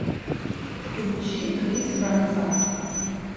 включи крис фронзак